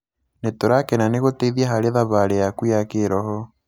Nĩ tũrakena nĩ gũteithia harĩ thabarĩ yaku ya kĩrho.